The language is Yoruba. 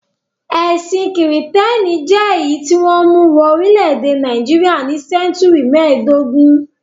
Ẹ̀sìn Kìrìtẹ́ẹ́nì jẹ́ èyí tí wọ́n mú wọ orílẹ̀-èdè Nàìjíríà ní sẹ́ńtúrì mẹ́ẹ̀dógún.